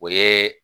O ye